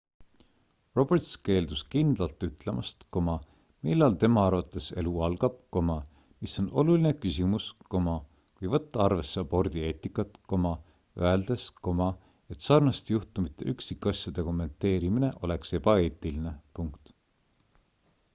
roberts keeldus kindlalt ütlemast millal tema arvates elu algab mis on oluline küsimus kui võtta arvesse abordi eetikat öeldes et sarnaste juhtumite üksikasjade kommenteerimine oleks ebaeetiline